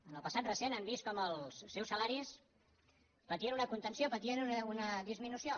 en el passat recent han vist com els seus salaris patien una contenció patien una disminució